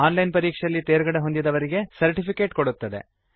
on line ಪರೀಕ್ಷೆಯಲ್ಲಿ ತೇರ್ಗಡೆಹೊಂದಿದವರಿಗೆ certificate ಕೊಡುತ್ತದೆ